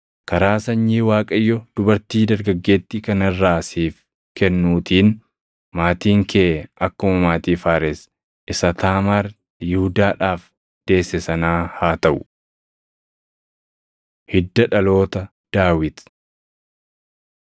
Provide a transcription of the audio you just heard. Karaa sanyii Waaqayyo dubartii dargaggeettii kana irraa siif kennuutiin maatiin kee akkuma maatii Faares isa Taamaar Yihuudaadhaaf deesse sanaa haa taʼu.” Hidda Dhaloota Daawit 4:18‑22 kwf – 1Sn 2:5‑15; Mat 1:3‑6; Luq 3:31‑33